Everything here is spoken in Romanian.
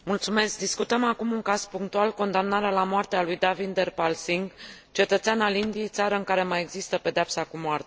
Discutăm acum un caz punctual condamnarea la moarte a lui Davinder Pal Singh, cetățean al Indiei, țară în care mai există pedeapsa cu moartea.